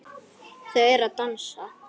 Þau eru að dansa